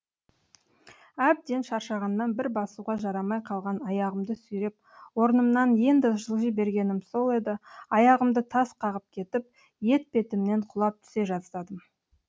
әбден шаршағаннан бір басуға жарамай қалған аяғымды сүйреп орнымнан енді жылжи бергенім сол еді аяғымды тас қағып кетіп етпетімнен құлап түсе жаздадым